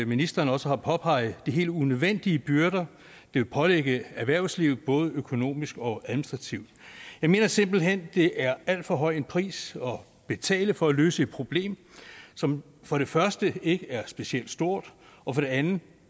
ministeren også har påpeget at det er helt unødvendige byrder at pålægge erhvervslivet både økonomisk og administrativt jeg mener simpelt hen at det er alt for høj en pris at betale for at løse et problem som for det første ikke er specielt stort og for det andet